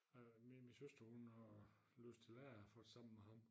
Øh min min søster hun har læst til lærer faktisk sammen med ham